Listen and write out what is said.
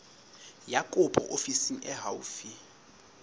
ya kopo ofising e haufi